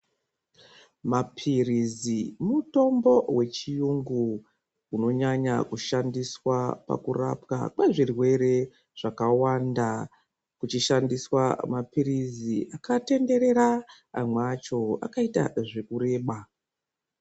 Maphirizi mutombo wechiyungu unonyanya kushandiswa pakurapwa kwezvirwere zvakawanda , kuchishandiswa maphirizi akatenderera amwe acho akaita zvekureba.